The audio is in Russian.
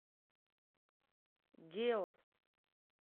геос